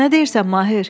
Nə deyirsən, Mahir?